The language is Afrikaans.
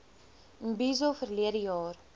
imbizo verlede jaar